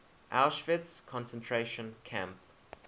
auschwitz concentration camp